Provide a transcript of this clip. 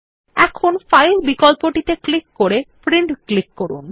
এখন ফাইল বিকল্পটি ক্লিক করে প্রিন্ট ক্লিক করুন